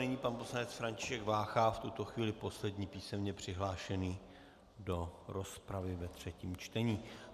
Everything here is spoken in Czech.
Nyní pan poslanec František Vácha, v tuto chvíli poslední písemně přihlášený do rozpravy ve třetím čtení.